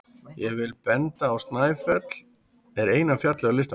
Ég vil benda á að Snæfell er eina fjallið á listanum.